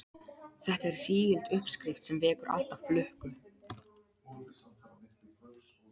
Þetta er sígild uppskrift sem vekur alltaf lukku.